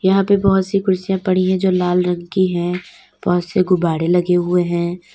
यहां पे बहोत सी कुर्सियां पड़ी है जो लाल रंग की है बहोत से गुब्बाड़े लगे हुए हैं।